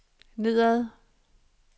nedad